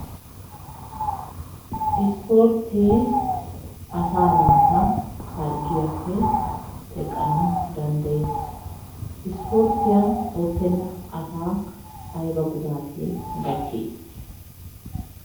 Isporttee asaa naata harggiyappe teqqanawu danddayes. Isporttiya oottenna asaa ayiba gudaatee gakkii?